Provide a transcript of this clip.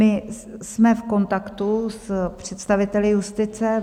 My jsme v kontaktu s představiteli justice.